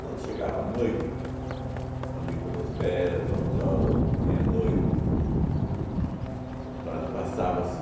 Quando chegava à noite, entende, ali pelas dez, onze horas, meia-noite, e pa passava-se